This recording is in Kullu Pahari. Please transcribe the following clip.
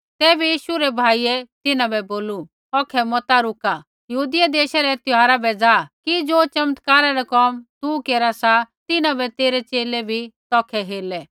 तैबै यीशु रै भाइयै तिन्हां बै बोलू औखै मता रुका यहूदिया देशा रै त्यौहारा बै जा कि ज़ो चमत्कारा रै कोम तू केरा सा तिन्हां बै तेरै च़ेले भी तौखै हेरलै